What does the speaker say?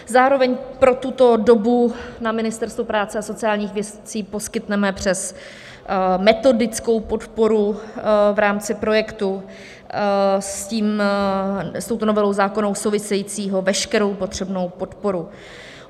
Zároveň pro tuto dobu na Ministerstvu práce a sociálních věcí poskytneme přes metodickou podporu v rámci projektu s touto novelou zákona souvisejícího veškerou potřebnou podporu.